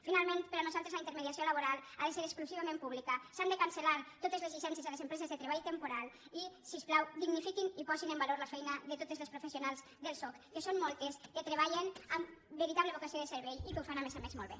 finalment per nosaltres la intermediació laboral ha de ser exclusivament pública s’han de cancel·lar totes les llicències a les empreses de treball temporal i si us plau dignifiquin i posin en valor la feina de totes les professionals del soc que són moltes que treballen amb veritable vocació de servei i que ho fan a més a més molt bé